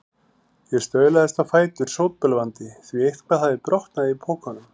Ég staulaðist á fætur, sótbölvandi, því eitthvað hafði brotnað í pokunum.